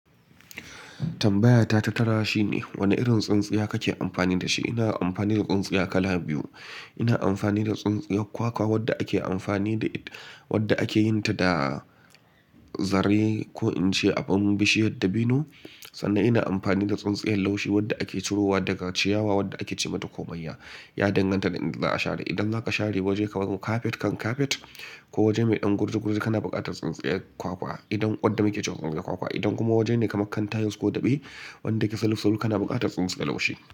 Tambayata ta tara shine, Wane irin tsintsiya kake amfani da shi? Ina amfani da tsintsiya kala biyu. Ina amfani da tsintsiyar kwakwa wadda ake amfani da ita, wadda ake yin ta da zarne ko in ce abin bishiyar dabino. Sannan ina amfani da tsintsiyar laushi wadda ake cirowa daga ciyawa wadda ake ce mata komayya. Ya danganta da inda za a share. Idan zaka share waje kamar carpet kan carpet ko waje mai ɗan gurji gurji, kana buƙatar tsintsiyar kwakwa idan wadda muke cewa tsintsiyar kwakwa. Idan kuma waje ne kamar kan tiles ko daɓe wadda ke saluf saluf, kana buƙatar tsintsiyar laushi.